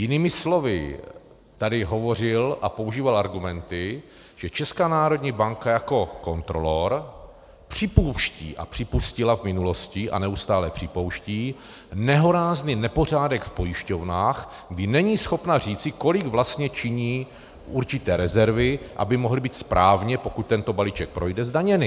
Jinými slovy tady hovořil a používal argumenty, že Česká národní banka jako kontrolor připouští, a připustila v minulosti a neustále připouští, nehorázný nepořádek v pojišťovnách, kdy není schopna říci, kolik vlastně činí určité rezervy, aby mohly být správně, pokud tento balíček projde, zdaněny.